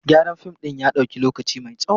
Gyaran fim ɗin ya ɗauki lokaci mai tsawo.